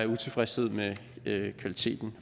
utilfredshed med kvaliteten